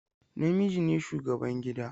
Namiji ne shugaban gida.